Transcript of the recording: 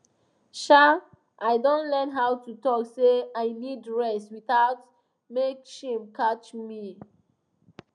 um i don learn how to talk say i need rest without make shame catch me